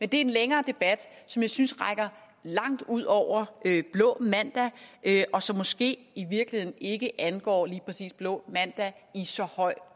det er en længere debat som jeg synes rækker langt ud over blå mandag og som måske i virkeligheden ikke angår lige præcis blå mandag i så høj